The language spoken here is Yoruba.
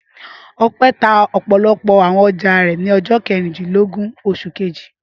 Ọpẹ́ tá ọ̀pọ̀lọpọ̀ àwọn ọjà rẹ̀ ní ọjọ́ kejìlélógún oṣù kejì.